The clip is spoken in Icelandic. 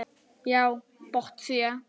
Já, botsía.